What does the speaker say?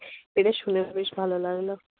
এটা শুনে বেশ ভালো লাগল।